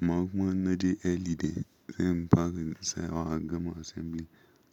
Amma kuman in na je early dai zan fara da tsayawa a gama assembly